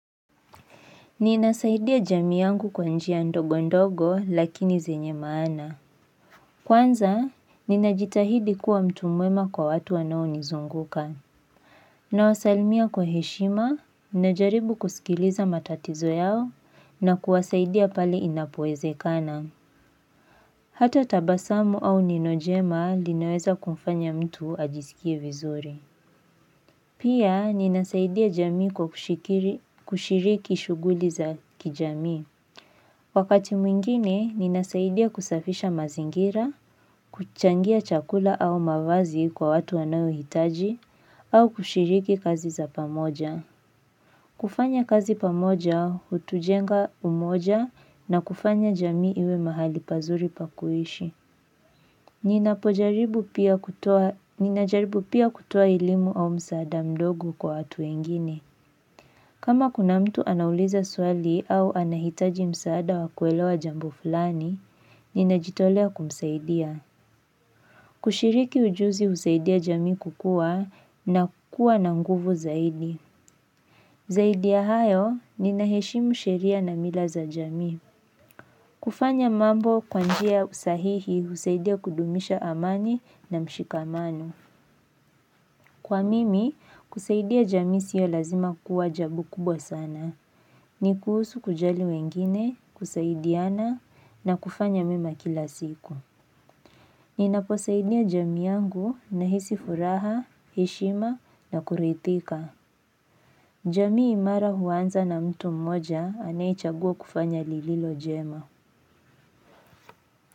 Ninasaidia jamii yangu kwa njia ndogo ndogo lakini zenye maana. Kwanza, ninajitahidi kuwa mtu mwema kwa watu wanao nizunguka. Nawasalimia kwa heshima, najaribu kusikiliza matatizo yao na kuwasaidia pale inapoeze kana. Hata tabasamu au neno jema linaweza kumfanya mtu ajisikie vizuri. Pia, ninasaidia jamii kwa kushiriki shughuli za kijami. Wakati mwingine, ninasaidia kusafisha mazingira, kuchangia chakula au mavazi kwa watu wanaohitaji, au kushiriki kazi za pamoja. Kufanya kazi pamoja, hutujenga umoja na kufanya jamii iwe mahali pazuri pa kuishi. Ninapojaribu pia kutoa elimu au msaada mdogo kwa watu wengine. Kama kuna mtu anauliza swali au anahitaji msaada wakuelewa jambo fulani, ninajitolea kumsaidia. Kushiriki ujuzi husaidia jami kukua na kukua na nguvu zaidi. Zaidi ya hayo, ninaheshimu sheria na mila za jamii. Kufanya mambo kwa njia usahihi husaidia kudumisha amani na mshikamano. Kwa mimi, kusaidia jamii sio lazima kuwa jabu kubwa sana. Ni kuhusu kujali wengine, kusaidiana na kufanya mema kila siku. Ninaposaidia jamii yangu nahisi furaha, heshima na kuridhika. Jamii imara huanza na mtu mmoja anayechagua kufanya lililo jema.